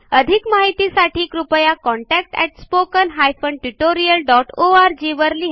अधिक माहितीसाठी कृपया contactspoken tutorialorg वर लिहा